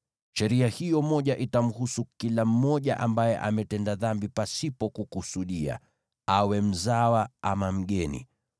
Sheria hiyo moja itamhusu kila mmoja ambaye ametenda dhambi pasipo kukusudia, awe Mwisraeli mzawa ama mgeni.